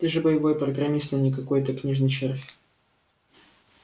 ты же боевой программист а не какой-то книжный червь